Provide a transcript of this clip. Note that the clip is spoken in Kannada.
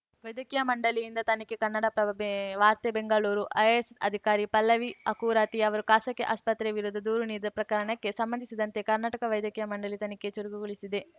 ವೈದ್ಯಕೀಯ ಮಂಡಳಿಯಿಂದ ತನಿಖೆ ಕನ್ನಡಪ್ರಭ ವಾರ್ತೆ ಬೆಂಗಳೂರು ಐಎಎಸ್‌ ಅಧಿಕಾರಿ ಪಲ್ಲವಿ ಅಕುರಾತಿ ಅವರು ಖಾಸಗಿ ಆಸ್ಪತ್ರೆ ವಿರುದ್ಧ ದೂರು ನೀಡಿದ ಪ್ರಕರಣಕ್ಕೆ ಸಂಬಂಧಿಸಿದಂತೆ ಕರ್ನಾಟಕ ವೈದ್ಯಕೀಯ ಮಂಡಳಿ ತನಿಖೆ ಚುರುಕುಗೊಳಿಸಿದೆ